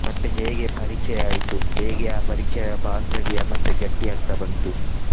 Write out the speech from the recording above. ಮತ್ತೆ ಹೇಗೆ ಪರಿಚಯ ಆಯ್ತು. ಹೇಗೆ ಆ ಪರಿಚಯ ಬಾಂಧವ್ಯ ಮತ್ತೆ ಗಟ್ಟಿಯಾಗ್ತಾ ಬಂತು.